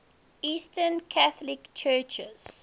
eastern catholic churches